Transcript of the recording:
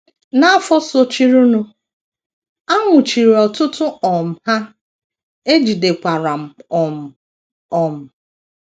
N’afọ sochirinụ, a nwụchiri ọtụtụ um Ha, e jidekwara m um. um